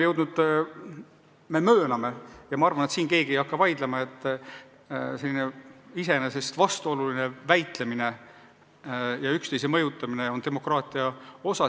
Me mööname ja ma arvan, et keegi ei hakka selle vastu vaidlema, et selline iseenesest vastuoluline väitlemine ja üksteise mõjutamine on demokraatia osa.